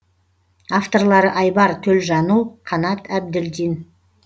авторлары айбар төлжанұл қанат әбділдин